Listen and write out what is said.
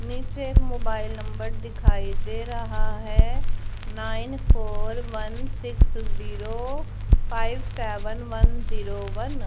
नीचे mobile number दिखाई दे रहा है nine four one six zero five seven one zero one.